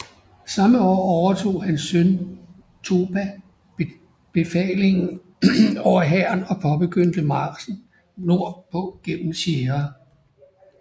Samme år overtog hans søn Topa befalingen over hæren og påbegyndte marchen nord på gennem Sierra